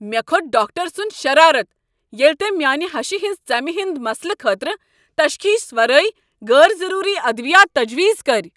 مےٚ کھوٚت ڈاکٹر سنٛد شرارت ییٚلہ تٔمۍ میٛانہ ہشہ ہٕنٛز ژمہ ہٕنٛد مسلہٕ خٲطرٕ تشخیص ورٲے غٲر ضٔروٗری ادوٲیات تجویز کٔرۍ۔